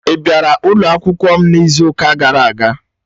Ị bịara ụlọ akwụkwọ m n'izu ụka gara aga?